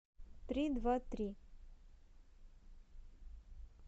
три два три